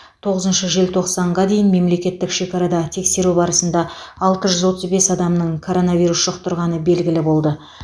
тоғызыншы желтоқсанға дейін мемлекеттік шекарада тексеру барысында алты жүз отыз бес адамның коронавирус жұқтырғаны белгілі болды